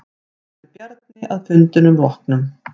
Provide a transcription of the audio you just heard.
Sagði Bjarni að fundinum loknum.